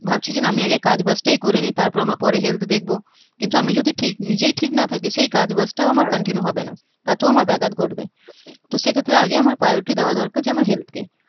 ভাবছি যে না আমি আগে কাজ বাজটাই করে নেই তারপর আমার পরে health দেখব কিন্তু আমি যদি ঠিক নিজেই ঠিক না থাকি সেই কাজ বাজাটাও আমার continue হবে না তাতেও আমার ব্যাঘাত ঘটবে তো সেই ক্ষেত্রে আগে আমার priority দেওয়া দরকার যে আমার health কে